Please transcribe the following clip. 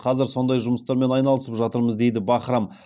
қазір сондай жұмыстармен айналысып жатырмыз дейді бахрам